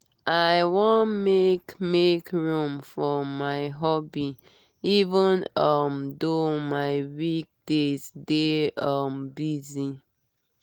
i wan make make room for my hobby even um though my week days dey um busy.